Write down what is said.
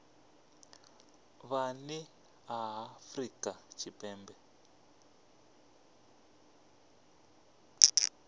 vhe nnḓa ha afrika tshipembe